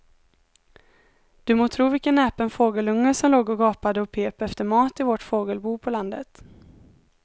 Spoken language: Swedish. Du må tro vilken näpen fågelunge som låg och gapade och pep efter mat i vårt fågelbo på landet.